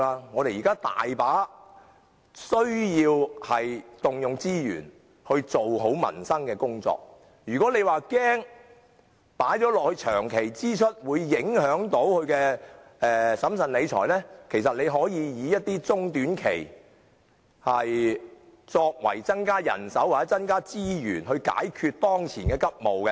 我們現時需要許多資源進行改善民生的工作，倘若政府恐怕把此等支出列為長期支出會影響審慎理財，其實可以考慮按中、短期增加人手或資源以解決當前急務。